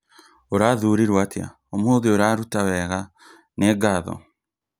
Ũrathurirwo atĩa ũmũthĩ ũraruta wega nĩ ngatho.